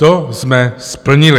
- To jsme splnili.